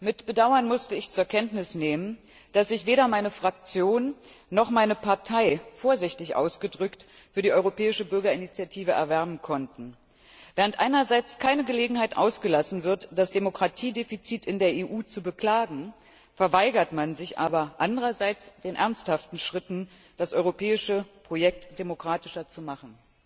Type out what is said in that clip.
Mit Bedauern musste ich zur Kenntnis nehmen, dass sich weder meine Fraktion noch meine Partei vorsichtig ausgedrückt für die europäische Bürgerinitiative erwärmen konnten. Während einerseits keine Gelegenheit ausgelassen wird, das Demokratiedefizit in der EU zu beklagen, verweigert man sich andererseits den ernsthaften Schritten, das europäische Projekt demokratischer zu machen.